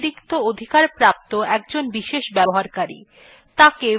মূল ব্যবহারকারী he অতিরিক্ত অধিকারপ্রাপ্ত একজন বিশেষ ব্যক্তি